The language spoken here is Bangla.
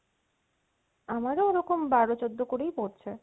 আমার ওরকম বারো চৌদ্দ করেই পড়ছে